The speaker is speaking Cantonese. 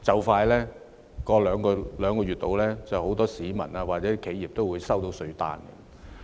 大約兩個月之後，很多市民或企業也會收到稅單。